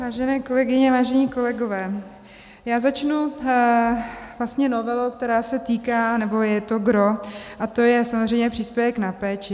Vážené kolegyně, vážení kolegové, já začnu vlastně novelou, která se týká, nebo je to gros, a to je samozřejmě příspěvek na péči.